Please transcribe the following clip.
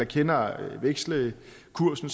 kender vekselkursen